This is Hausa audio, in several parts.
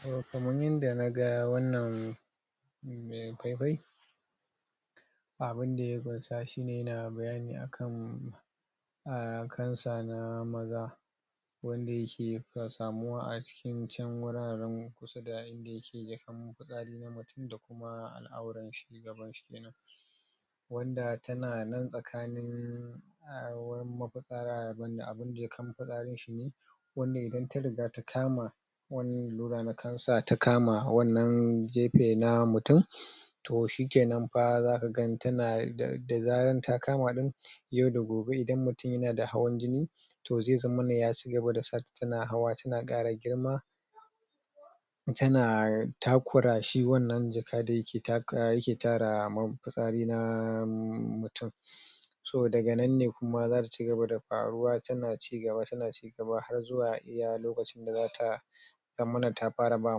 toh kaman yanda na ga wannan mai fai fai abun da ya kunsa shine yana bayani ne akan um cancer na maza wanda yake samuwa a cikin wuraren kusa da inda yake fisari na mutum da kuma al'awran shi gaban shi kenan wanda tana nan tsakanin wurin abun da ya kam fisarin wanda idan ta riga ta kama wani lallura na cancer ta kama wannan gefe na mutum toh shikenan fa zaka ga tana da zaran ta kama din yau da gobe idan mutum yana da hawan jini toh zai zammana ya cigaba da hawa tana kara girma tana takura shi wannan jaka dai da yake tara fisari na mutum so daga nan ne kuma zasu cigaba da karuwa tana cigaba tana har zuwa iya lokacin da zata zammana ta fara ba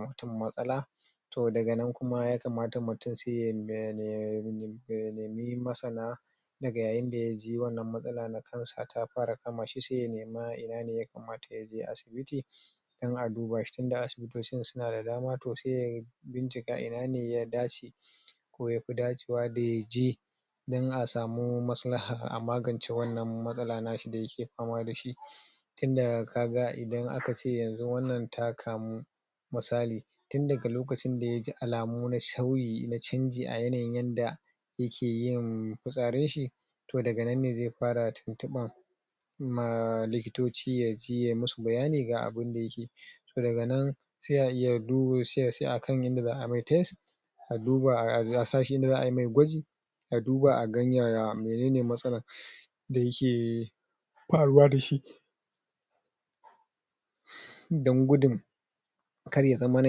mutum matsala toh daga nan kuma ya kamata mutum ya da ya nemi Masana dga yaji wannan matsala ta cancer ta fara kama shi sai ya nema ina ne ya kamata yaje asibiti dan a duba shi tun da asibitocin suna da dama toh sai ya bin cika ina ne ya dace ko yafi dace wa da yaje dan a samu masilha a magance wannan matsala na da yake fama dashi tun da kaga idan akace yanzu wannan ta kamu misali tun daga lokacin da yaji alamu na sharri na canji a yanayin yanda yake yin fisarin shi toh daga nan ne zai fara tuntubin ma lokitoci yaji ya musu bayani ga abun da yake ji toh daga nan sai a iya sai a san yanda za'a mai test a duba a sa shi yanda za'a mai gwaji a duba a gan menene matsalan da yake faruwa dashi dan gudun kar ya zammana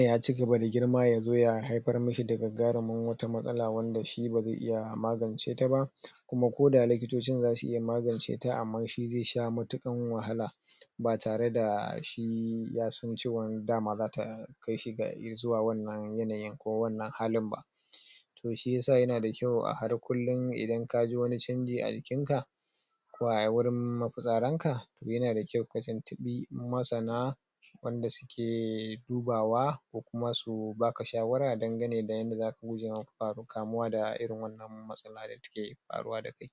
ya cigaba da girma yazo ya haifar mishi da gaggaran wata matsala wanda shi bazai iya magance ta ba kuma ko da likitocin zasu iya magance ta amma shi zai sha cikin wahala ba tare da shi ya san cewa dama zata kai shi zuwa wannnan yanayin ko wannan halin ba toh shiyasa yana da kyau a har kullun idan kaji wani chanji a jikin ka ko a wurin ma fisarin ka yana da kyau ka tuntubi masana wanda suke duba wa ko kuma su baka shawara dangane da yanda kamuwa da irin wannan matsala da take faruwa da kai